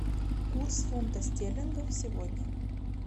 курс фунта стерлингов сегодня